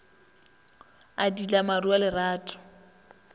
a diila maru a lerato